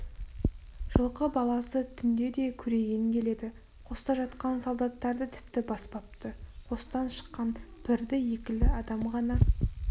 жылқы баласы түнде де көреген келеді қоста жатқан солдаттарды тіпті баспапты қостан шыққан бірді-екілі адам ғана